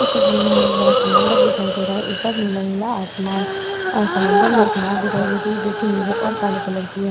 इस तस्वीर में हमें बड़ा समंदर दिखाई दे रहा है। ऊपर नीला-नीला आसमान। समंदर में एक नाव दिखाई दे रही है जोकि नीले और काले कलर की है।